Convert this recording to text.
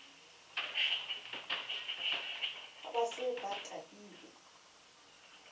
ha ba se ba tahilwe